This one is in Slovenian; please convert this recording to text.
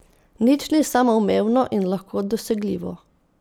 Nič ni samoumevno in lahko dosegljivo.